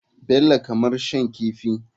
Bello kamar shan kifi.